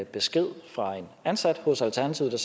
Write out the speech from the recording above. besked fra en ansat hos alternativet